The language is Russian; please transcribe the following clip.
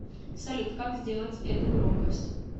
салют как сделать эту громкость